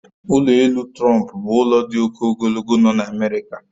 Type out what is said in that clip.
Ụlọ elu Trump bụ ụlọ dị oke ogologo nọ n'America